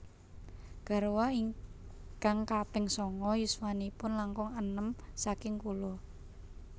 Garwa ingkang kaping sanga yuswanipun langkung enem saking kula